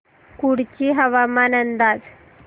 कुडची हवामान अंदाज